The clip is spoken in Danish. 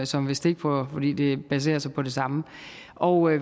som ved stikprøver fordi det baserer sig på det samme og